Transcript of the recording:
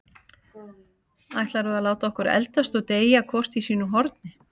Ætlarðu að láta okkur eldast og deyja hvort í sínu horni?